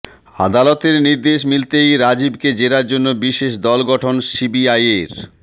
আদালতের নির্দেশ মিলতেই রাজীবকে জেরার জন্য বিশেষ দল গঠন সিবিআইয়ের